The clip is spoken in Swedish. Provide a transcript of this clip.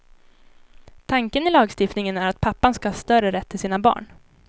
Tanken i lagstiftningen är att pappan ska ha större rätt till sina barn.